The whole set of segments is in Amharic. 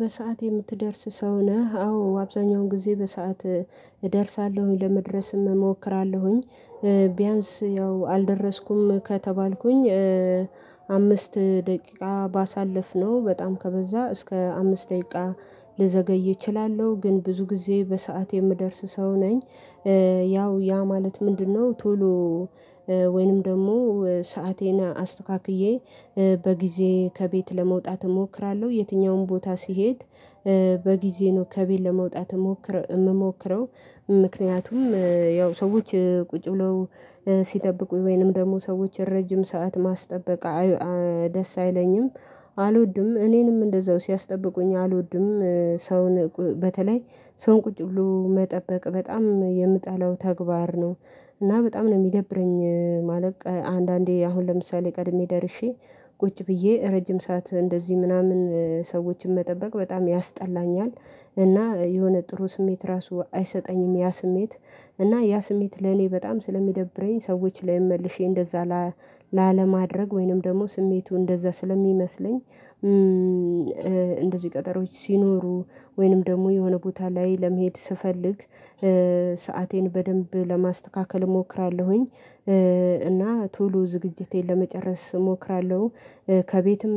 "በሰአት የምትደርስ ሰው ነህ?" አዎ፣ አብዛኛውን ጊዜ በሰአት እደርሳለሁኝ፤ ለመድረስም እሞክራለሁኝ። ቢያንስ ያው አልደረስኩም ከተባልኩኝ አምስት ደቂቃ ባሳልፍ ነው በጣም ከበዛ እስከ አምስት ደቂቃ ልዘገይ እችላለሁ ግን ብዙ ጊዜ በሰአት የምደርስ ሰው ነኝ። ያው ያ ማለት ምንድነው ቶሎ ወይንም ደግሞ ሰአቴን አስተካክዬ በጊዜ ከቤት ለመውጣት እሞክራለሁ። የትኛውም ቦታ ስሄድ በጊዜ ነው ከቤት ለመውጣት የምሞክረው ምክንያቱም ያው ሰዎች ቁጭ ብለው ሲጠብቁ ወይንም ደግሞ ሰዎች ረጅም ሰዓት ማስጠበቅ ደስ አይለኝም አልወድም። እኔንም እንደዛው ሲያስጠብቁኝ አልወድም። ሰውን በተለይ ሰውን ቁጭ ብሎ መጠበቅ በጣም የምጠላው ተግባር ነው። እና በጣም ነው የሚደብረኝ ማለቅ አንዳንዴ አሁን ለምሳሌ ቀድሜ ደርሼ ቁጭ ብዬ ረጅም ሰዓት እንደዚህ ምናምን ሰዎችን መጠበቅ በጣም ያስጠላኛል እና የሆነ ጥሩ ስሜት ራሱ አይሰጠኝም። ያ ስሜት እና ያ ስሜት ለኔ በጣም ስለሚደብረኝ ሰዎች ላይም መልሼ እንደዛ ላለማድረግ ወይንም ደግሞ ስሜቱ እንደዛ ስለሚመስለኝ እንደዚህ ቀጠሮዎች ሲኖሩ ወይንም ደግሞ የሆነ ቦታ ላይ ለመሄድ ስፈልግ ሰአቴን በደንብ ለማስተካከል እሞክራለሁኝ እና ቶሎ ዝግጅቴን ለመጨረስ እሞክራለሁ። ከቤትም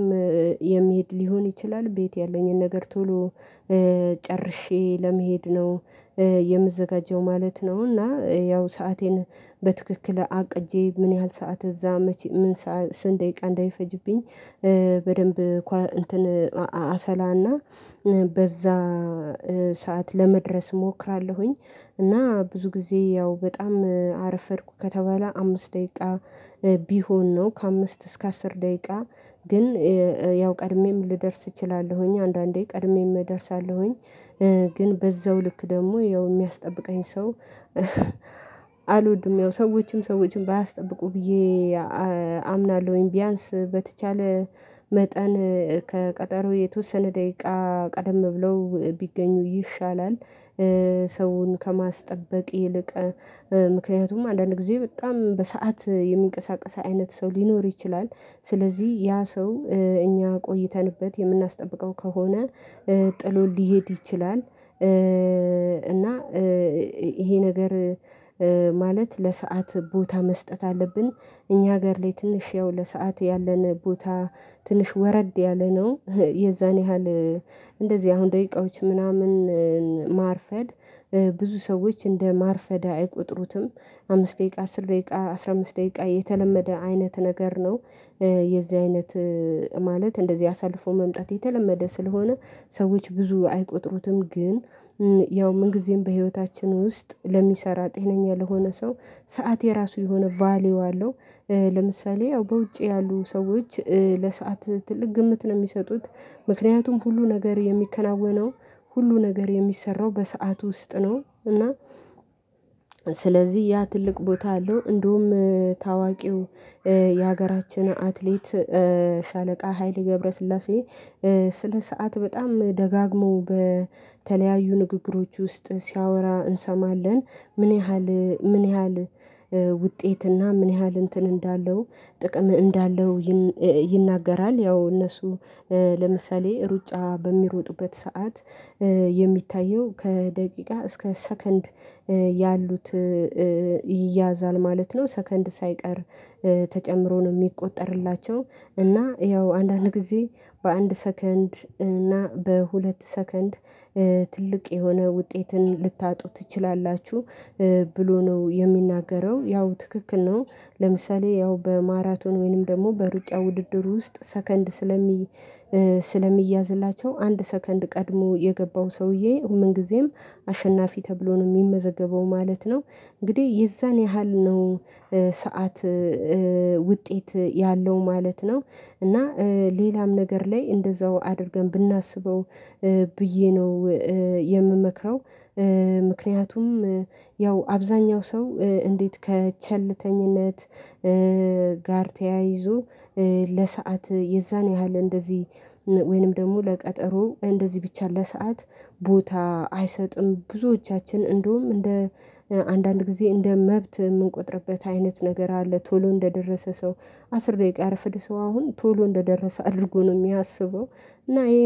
የሚሄድ ሊሆን ይችላል ቤት ያለኝን ነገር ቶሎ ጨርሼ ለመሄድ ነው የምዘጋጀው ማለት ነው እና ያው ሰአቴን በትክክል አቅጄ ምን ያህል ሰዓት እዛ መቼ ምን ስንት ደቂቃ እንደሚፈጅብኝ በደንብ እንትን አሰላና በዛ ሰዓት ለመድረስ እሞክራለሁኝ። እና ብዙ ጊዜ ያው በጣም አረፈድኩ ከተባለ አምስት ደቂቃ ቢሆን ነው ከአምስት እስከ አስር ደቂቃ ግን ያው ቀድሜም ልደርስ እችላለሁኝ አንዳንዴ ቀድሜም እደርሳለሁኝ። ግን በዛው ልክ ደግሞ ያው የሚያስጠብቀኝ ሰው አልወድም ያው ሰዎችም ሰዎችን ባያስጠብቁ ብዬ አምናለሁኝ። ቢያንስ በተቻለ መጠን ከቀጠሮ የተወሰነ ደቂቃ ቀደም ብለው ቢገኙ ይሻላል ሰውን ከማስጠበቅ ይልቅ ምክንያቱም አንዳንድ ጊዜ በጣም በሰአት የሚንቀሳቀስ አይነት ሰው ሊኖር ይችላል። ስለዚህ ያ ሰው እኛ ቆይተንበት የምናስጠብቀው ከሆነ ጥሎ ሊሄድ ይችላል እና ይሄ ነገር ማለት ለሰአት ቦታ መስጠት አለብን። እኛ ሀገር ላይ ትንሽ ያው ለሰአት ያለን ቦታ ትንሽ ወረድ ያለ ነው። የዛን ያህል እንደዚህ አሁን ደቂቃዎች ምናምን ማርፈድ ብዙ ሰዎች እንደ ማርፈድ አይቆጥሩትም አምስት ደቂቃ አስር ደቂቃ አስራ አምስት ደቂቃ የተለመደ አይነት ነገር ነው። የዚህ አይነት ማለት እንደዚህ አሳልፎ መምጣት የተለመደ ስለሆነ ሰዎች ብዙ አይቆጥሩትም ግን ያው ምን ጊዜም በህይወታችን ውስጥ ለሚሰራ ጤነኛ ለሆነ ሰው ሰዓት የራሱ የሆነ ቫልዩ አለው። ለምሳሌ ያው በውጭ ያሉ ሰዎች ለሰአት ትልቅ ግምት ነው የሚሰጡት ምክንያቱም ሁሉ ነገር የሚከናወነው ሁሉ ነገር የሚሰራው በሰአት ውስጥ ነው እና ስለዚህ ያ ትልቅ ቦታ አለው እንደውም ታዋቂው የሀገራችን አትሌት ሻለቃ ሃይሌ ገብረስላሴ ስለ ሰዓት በጣም ደጋግመው በተለያዩ ንግግሮች ውስጥ ሲያወራ እንሰማለን። ምን ያህል ውጤትና ምን ያህል እንትን እንዳለው ጥቅም እንዳለው ይናገራል። ያው እነሱ ለምሳሌ ሩጫ በሚሮጥበት ሰዓት የሚታየው ከደቂቃ እስከ ሰከንድ ያሉት ይያዛል ማለት ነው። ሰከንድ ሳይቀር ተጨምሮ ነው የሚቆጠርላቸው እና ያው አንዳንድ ጊዜ በአንድ ሰከንድ እና በሁለት ሰከንድ ትልቅ የሆነ ውጤትን ልታጡ ትችላላችሁ ብሎ ነው የሚናገረው ያው ትክክል ነው ለምሳሌ ያው በማራቶን ወይንም ደግሞ በሩጫ ውድድር ውስጥ ሰከንድ ስለሚ ስለሚያዝላቸው አንድ ሰከንድ ቀድሞ የገባው ሰውዬ ምን ጊዜም አሸናፊ ተብሎ ነው የሚመዘገበው ማለት ነው። እንግዲህ የዛን ያህል ነው ሰዓት ውጤት ያለው ማለት ነው። እና ሌላም ነገር ላይ እንደዛው አድርገን ብናስበው ብዬ ነው የምመክረው ምክንያቱም ያው አብዛኛው ሰው እንዴት ከቸልተኝነት ጋር ተያይዞ ለሰአት የዛን ያህል እንደዚህ ወይንም ደግሞ ለቀጠሮ እንደዚህ ብቻ ለሰአት ቦታ አይሰጥም። ብዙዎቻችን እንደውም እንደ አንዳንድ ጊዜ እንደ መብት የምንቆጥርበት አይነት ነገር አለ ቶሎ እንደደረሰ ሰው አስር ደቂቃ ያረፈደ ሰው አሁን ቶሎ እንደደረሰ አድርጎ ነው የሚያስበው እና ይሄ